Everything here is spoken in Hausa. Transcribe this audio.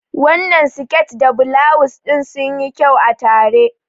Wannan siket da bulawus ɗin sunyi kyau a tare.